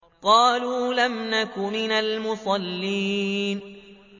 قَالُوا لَمْ نَكُ مِنَ الْمُصَلِّينَ